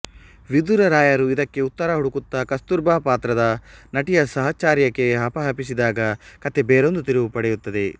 ವಿಧುರ ರಾಯರು ಇದಕ್ಕೆ ಉತ್ತರ ಹುಡುಕುತ್ತಾ ಕಸ್ತೂರ್ಬಾ ಪಾತ್ರದ ನಟಿಯ ಸಹಚರ್ಯಕ್ಕೆ ಹಪಹಪಿಸಿದಾಗ ಕಥೆ ಬೇರೊಂದು ತಿರುವು ಪಡೆಯುತ್ತದೆ